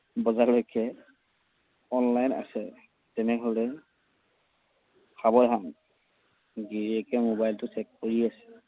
বজালৈক online আছে, তেনেহলে সাৱধান। গিৰিয়েকে মোবাইলটো check কৰি আছে।